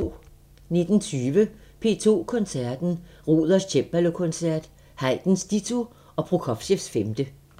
19:20: P2 Koncerten – Ruders cembalokoncert, Haydns ditto og Prokofievs femte